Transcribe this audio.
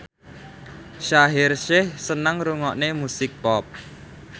Shaheer Sheikh seneng ngrungokne musik pop